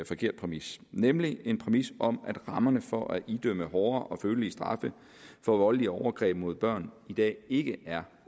forkert præmis nemlig en præmis om at rammerne for at idømme hårdere og følelige straffe for voldelige overgreb mod børn i dag ikke er